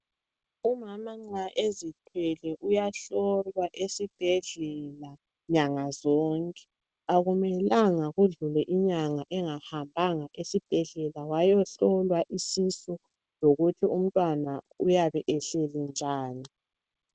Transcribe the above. Umama nxa ezithwele uyahlolwa esibhedlela nyanga zonke akumelanga kudlule inyanga engahambanga esibhedlela wayehlolwa isisu lokuthi umntwana uyabe ehleli njani.